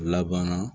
Laban na